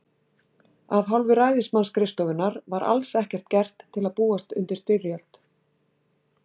Af hálfu ræðismannsskrifstofunnar var alls ekkert gert til að búast undir styrjöld.